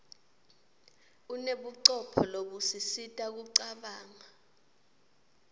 unebucopho lobusisita kucabanga